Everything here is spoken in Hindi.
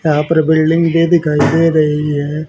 यहां पर बिल्डिंग गे दिखाई दे रही है।